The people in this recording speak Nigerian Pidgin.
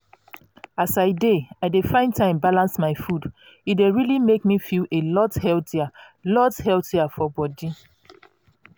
as i dey i dey find time balance my food e dey really make me feel a lot healthier lot healthier for body.